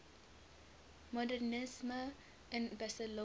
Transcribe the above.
modernisme in barcelona